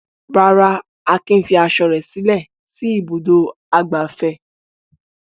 Rárá, Akin fi aṣọ rẹ̀ sílẹ̀ sí Ibùdó-ìgbafẹ́.